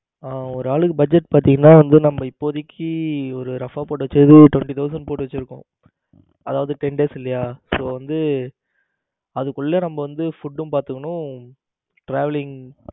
ஹம் ஒரு ஆளுக்கு budget பாத்தீங்கன்னா வந்து நம்ம இப்போதைக்கு ஒரு approximate டா ஒரு twenty thousand போட்டு வச்சிருக்கோம். அதாவது ten days இல்லையா so வந்து அதுக்குள்ள நம்ம வந்து food டும் பார்த்தீங்கனா traveling